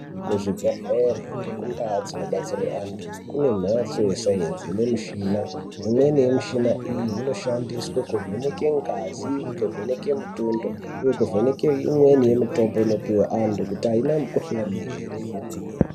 Ku zvibhedhlere ngeku ndau dzino batsirwe antu kune mhatso ye sainzi ine mishina imweni ye mishina iyi inoshandiswa kuvheneke ngazi kuvheneke mutundo uye kuvheneke imweni ye mutombo inopihwe antu kuti aina mu kuhlani ere kwemene.